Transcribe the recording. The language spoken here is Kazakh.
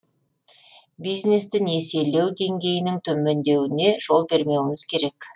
бизнесті несиелеу деңгейінің төмендеуіне жол бермеуіміз керек